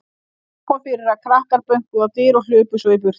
Einnig kom fyrir að krakkar bönkuðu á dyr og hlupu svo í burtu.